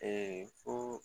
ko